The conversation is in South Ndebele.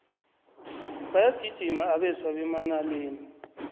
bayagijima abeswa bemanaleni